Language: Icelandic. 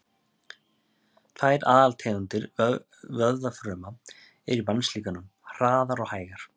Tvær aðaltegundir vöðvafruma eru í mannslíkamanum, hraðar og hægar.